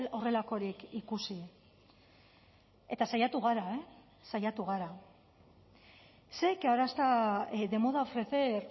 horrelakorik ikusi eta saiatu gara saiatu gara sé que ahora está de moda ofrecer